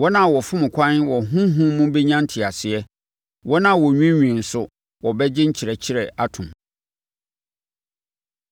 Wɔn a wɔfom kwan wɔ honhom mu bɛnya nteaseɛ; wɔn a wɔnwiinwii nso, wɔbɛgye nkyerɛkyerɛ atom.